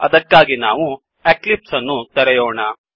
ಅದಕ್ಕಾಗಿ ನಾವು ಎಕ್ಲಿಪ್ಸ್ ಅನ್ನು ತೆರೆಯೋಣ